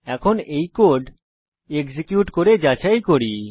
এখন এই code execute করে যাচাই করি